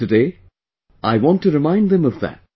Today I want to remind them of that